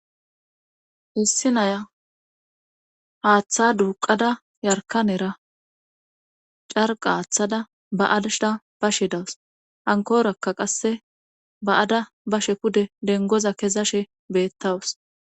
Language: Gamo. Issi naya haaththa duuqada yarkanera carqa haaththada ba adshda ba shidawus hankorakka qasse ba7ada ba she pude dengoza kezashe beettawus.